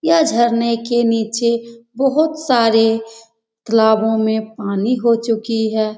यह झरने के नीचे बोहोत सारे तलाबो में पानी हो चुकी है।